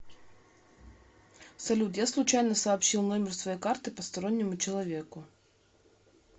салют я случайно сообщил номер своей карты постороннему человеку